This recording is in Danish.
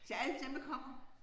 Til alle dem der kommer